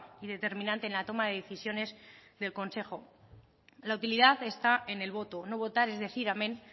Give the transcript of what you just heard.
y determinante en la toma de decisiones del consejo la utilidad está en el voto no votar es decir amén